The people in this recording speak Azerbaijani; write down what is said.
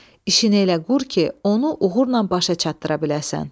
İşini elə qur ki, onu uğurla başa çatdıra biləsən.